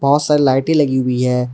बहोत सारे लाइटे लगी हुई है।